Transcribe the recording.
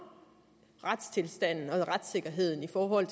retstilstanden og retssikkerheden i forhold